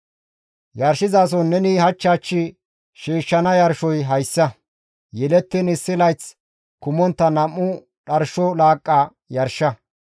«Yarshizason neni hach hach shiishshana yarshoy hayssa; Yelettiin issi layth kumontta nam7u adde laaqqa yarsha.